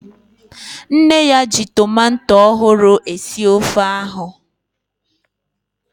Nne ya ji tomato ọhụrụ esi ofe ahu